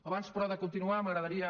abans però de continuar m’agradaria